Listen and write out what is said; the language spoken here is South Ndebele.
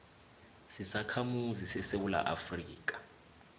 sisakhamuzi sesewula afrika